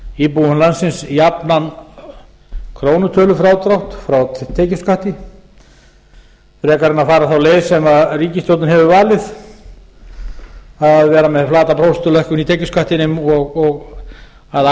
íbúum landsins jafnan krónutölufrádrátt frá tekjuskatti frekar en fara þá leið sem ríkisstjórnin hefur valið að vera með flata prósentulækkun í tekjuskattinum og að